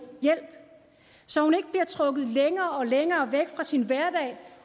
hjælp så hun ikke bliver trukket længere og længere væk fra sin hverdag